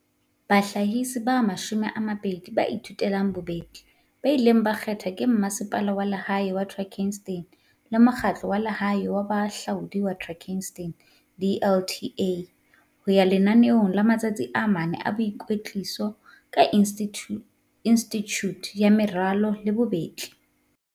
bahlahisi ba 20 ba thuthuhang ba bobetli ba ileng ba kgethwa ke Masepala wa Lehae wa Drakenstein le Mokgahlo wa Lehae wa Bohahlaudi wa Drakenstein, DLTA, ho ya lenaneong la matsatsi a mane a boikwetliso ka Institjhute ya Meralo le Bobetli CDI.